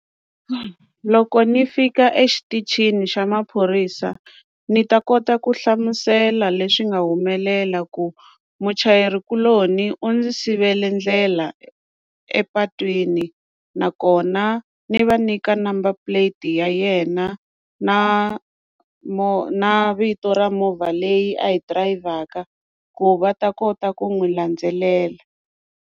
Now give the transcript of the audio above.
Loko ni fika exitichini xa maphorisa ni ta kota ku hlamusela leswi nga humelela ku muchayeri kuloni u ndzi sivela ndlela epatwini nakona ni va nyika number plate ya yena na na vito ra movha leyi a yi dirayivhaka ku va ta kota ku n'wi landzelela.